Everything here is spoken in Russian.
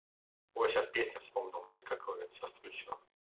ой сейчас песню вспомнил знаете какую сейчас включу